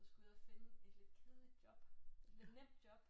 Så skulle jeg ud og finde et lidt kedeligt job et lidt nemt job